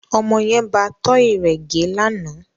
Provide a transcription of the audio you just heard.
Ọmọ yẹn bá tọ́ì rẹ gẹ́ lánàá